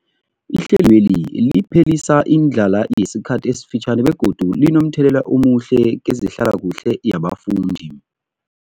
Ihlelweli liphelisa indlala yesikhathi esifitjhani begodu linomthelela omuhle kezehlalakuhle yabafundi.